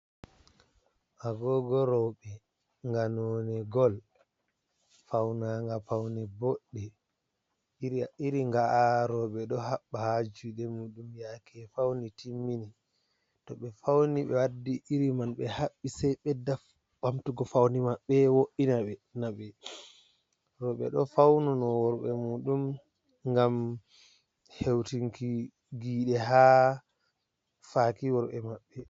Agogo roɓɓe nga none gol, faunaga paune boɗɗe iri nga'a roɓɓe ɗo haɓɓa ha juɗe muɗum yaake fauni timmini, to ɓe fauni ɓe wadɗi iri man be haɓɓi sei ɓeɗɗa ɓamtugi faune maɓɓe, wo'ina ɓe roɓɓe ɗo fauno worɓe muɗum ngam heutinki giide ha faki worɓɓe maɓɓe.